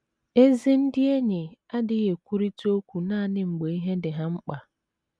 Ezi ndị enyi adịghị ekwurịta okwu nanị mgbe ihe dị ha mkpa.